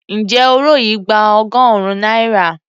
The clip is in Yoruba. Ǹjẹ́ òro yìí gba ọgọ́rùn-ún náírà?